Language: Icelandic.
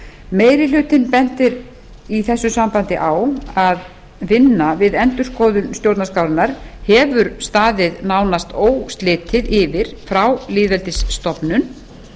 meiri hlutinn bendir í þessu sambandi á að vinna við endurskoðun stjórnarskrárinnar hefur staðið nánast óslitið yfir frá lýðveldisstofnun